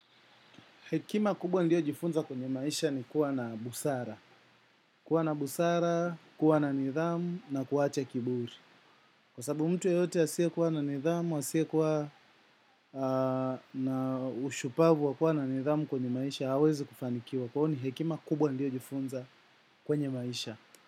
Hekima kubwa niliyojifunza kwenye maisha ni kuwa na busara. Kuwa na busara, kuwa na nidhamu na kuacha kiburi. Kwa sababu mtu yeyote asiyekuwa na nidhamu, asiyekuwa na ushupavu wa kuwa na nidhamu kwenye maisha, hawezi kufanikiwa. Kwa hiyo ni hekima kubwa niliyojifunza kwenye maisha.